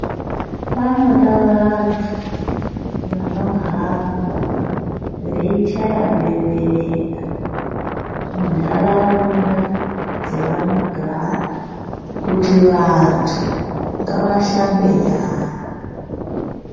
Panoda vantu vano hamba vei chaya bemberera mu ndaraunda dzavano gara kuti vantu ngava shambe nyara.